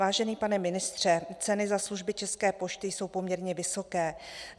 Vážený pane ministře, ceny za služby České pošty jsou poměrně vysoké.